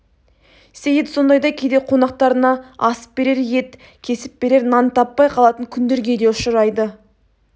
сейіт сондайда кейде қонақтарына асып берер ет кесіп берер нан таппай қалатын күндерге де ұшырайды